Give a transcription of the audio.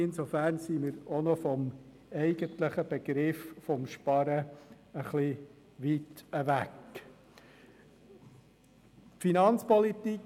Insofern sind wir auch vom eigentlichen Begriff des Sparens noch ein wenig weit entfernt.